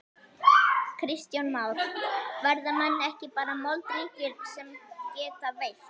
Kristján Már: Verða menn ekki bara moldríkir sem geta veitt?